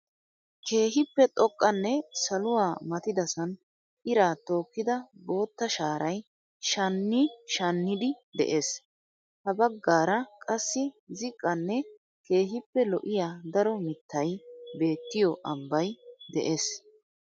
Keehippe xoqqanne saluwa matidasaan iraa tookida bootta shaaray shani shanniidi dees. Ha baggaara qassi ziqqan Keehippe lo'iya daro mittay beettiyo ambbay de'ees.